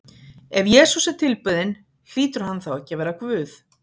Ef Jesús er tilbeðinn, hlýtur hann þá ekki að vera Guð?